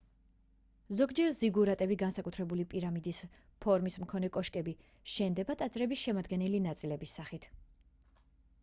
ზოგჯერ ზიგურატები განსაკუთრებული პირამიდის ფორმის მქონე კოშკები შენდებოდა ტაძრების შემადგენელი ნაწილების სახით